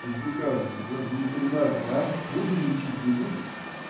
пиздюка в в ветеринарку а будем лечить не будем